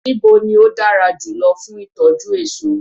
Níbo ni ó dára jùlọ fún ìtọ́jú èso.